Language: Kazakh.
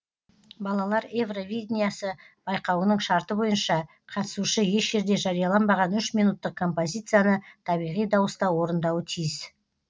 балалар евровидинясы байқауының шарты бойынша қатысушы еш жерде жарияланбаған үш минуттық композицияны табиғи дауыста орындауы тиіс